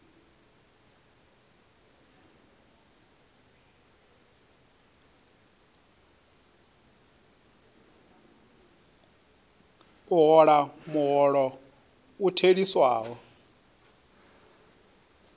a hola muholo u theliswaho